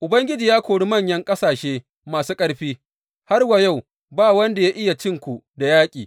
Ubangiji ya kori manyan ƙasashe masu ƙarfi; har wa yau ba wanda ya iya cin ku da yaƙi.